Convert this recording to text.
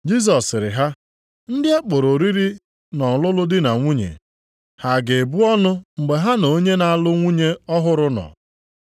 Jisọs sịrị ha, “Ndị a kpọrọ oriri nʼọlụlụ di na nwunye, ha ga-ebu ọnụ mgbe ha na onye na-alụ nwunye ọhụrụ nọ?